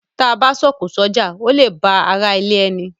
T a bá a s’oko s’oja, o le la a ba àrà ilé ẹní.